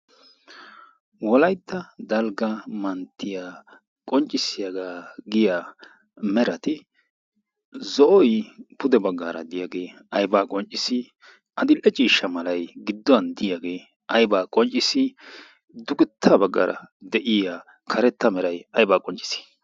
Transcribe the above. wolaytta dalgga manttiya qonccissiyaagaa giya merati zo'oy pude baggaara diyaagee aibaa qonccissi adil''e ciishsha malay gidduwan diyaagee aybaa qonccissi dugetta baggaara de'iya karetta meray aybaa qonccis